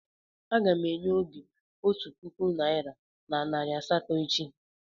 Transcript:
Aga m enye Obi otu puku naịra na nari asatọ echi.